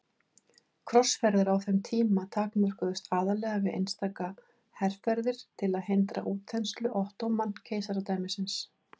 Krossferðir á þeim tíma takmörkuðust aðallega við einstaka herferðir til að hindra útþenslu Ottóman-keisaradæmisins.